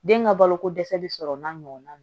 Den ka balo ko dɛsɛ bi sɔrɔ n'a ɲɔgɔnna